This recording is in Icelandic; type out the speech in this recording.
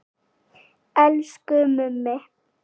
Elsku Mummi.